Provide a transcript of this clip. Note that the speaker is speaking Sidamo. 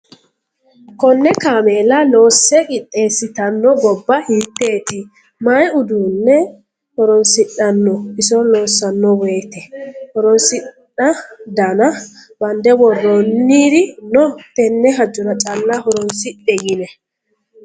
Kone kaameella loosse qixeesittano gobba hiiteti, mayi uduune horonsidhano iso loossano woyte, horosi dana bande worooniri no tene hajora calla horonsidhe yine ?